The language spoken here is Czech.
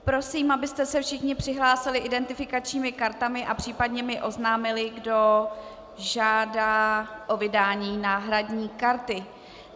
Prosím, abyste se všichni přihlásili identifikačními kartami a případně mi oznámili, kdo žádá o vydání náhradní karty.